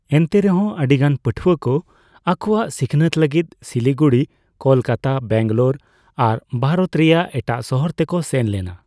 ᱮᱱᱛᱮᱨᱮᱦᱚᱸ ᱟᱹᱰᱤ ᱜᱟᱱ ᱯᱟᱹᱴᱷᱣᱟᱹ ᱠᱚ ᱟᱠᱳᱣᱟᱜ ᱥᱤᱠᱷᱱᱟᱹᱛ ᱞᱟᱹᱜᱤᱫ ᱥᱤᱞᱤᱜᱩᱲᱤ, ᱠᱚᱞᱠᱟᱛᱟ, ᱵᱮᱝᱜᱟᱞᱳᱨ, ᱟᱨ ᱵᱷᱟᱨᱚᱛ ᱨᱮᱭᱟᱜ ᱮᱴᱟᱜ ᱥᱟᱦᱟᱨ ᱛᱮᱠᱚ ᱥᱮᱱ ᱞᱮᱱᱟ ᱾